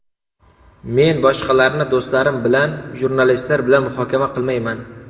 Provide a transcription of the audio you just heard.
Men boshqalarni do‘stlarim bilan, jurnalistlar bilan muhokama qilmayman.